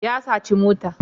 ya saci mota